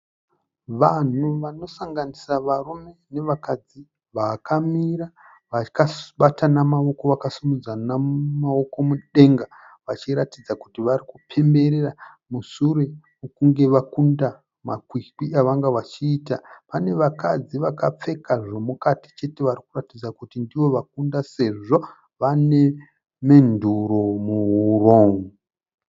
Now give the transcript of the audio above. Vanhu vanosanganisa varume nevakadzi vakamira vakabatana maoko vakasimudzana maoko mudenga , vachiratidza kuti varikupemberera musure mekunge vakunda makwikwi avanga vachiita. Pane vakadzi vakapfeka zvemukati chete varikuratidza kuti ndivo vakunda sezvo vane menduru muhuro.